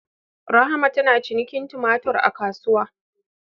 Rahma tana cinikin tumatur a kasuwa